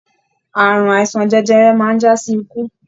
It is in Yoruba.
Ààrùn àìsàn jẹjẹrẹ máa n jasi ikú.